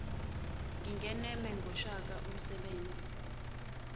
ngingeneme ngoshaka usebenze